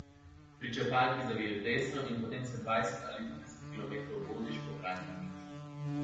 Pri črpalki zaviješ desno in potem se dvajset ali trideset kilometrov voziš po praznem niču.